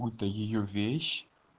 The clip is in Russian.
будто её вещь